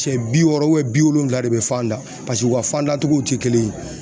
Sɛ bi wɔɔrɔ bi wolonwula de bɛ fan da u ka fandacogow tɛ kelen ye